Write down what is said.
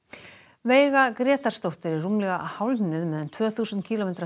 veiga Grétarsdóttir er rúmlega hálfnuð með um tvö þúsund kílómetra